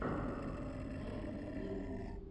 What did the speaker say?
найт вилл